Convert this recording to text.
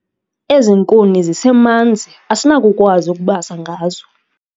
Ezi nkuni zisemanzi asinakukwazi ukubasa ngazo